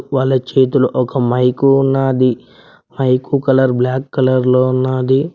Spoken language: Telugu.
వాళ్ళ చేతిలో ఒక మైకూ ఉన్నాది మైకు కలర్ బ్లాక్ కలర్ లో ఉన్నాది.